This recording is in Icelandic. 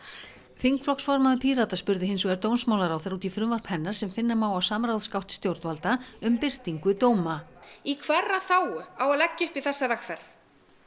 þingflokksformaður Pírata spurði hins vegar dómsmálaráðherra út í frumvarp hennar sem finna má á samráðsgátt stjórnvalda um birtingu dóma í hverra þágu á að leggja upp í þessa vegferð